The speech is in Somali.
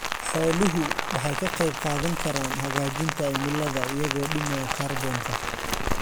Xooluhu waxay ka qaybqaadan karaan hagaajinta cimilada iyagoo dhimaya kaarboonka.